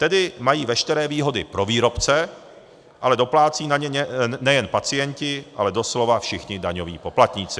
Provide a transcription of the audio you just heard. Tedy mají veškeré výhody pro výrobce, ale doplácejí na ně nejen pacienti, ale doslova všichni daňoví poplatníci.